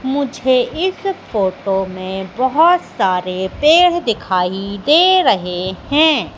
मुझे इस फोटो में बहुत सारे पेड़ दिखाई दे रहे हैं।